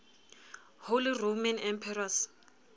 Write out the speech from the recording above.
holy roman emperors